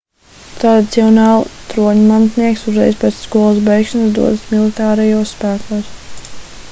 tradicionāli troņmantnieks uzreiz pēc skolas beigšanas dodas militārajos spēkos